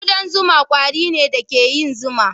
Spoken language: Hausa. Kudan zuma ƙwari ne da ke yin zuma.